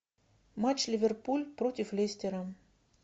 матч ливерпуль против лестера